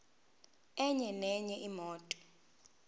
enye nenye imoto